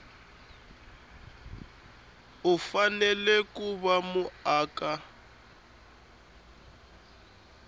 u fanele ku va muaka